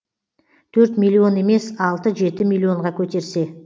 төрт миллион емес алты жеті миллионға көтерсе